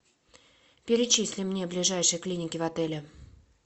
перечисли мне ближайшие клиники в отеле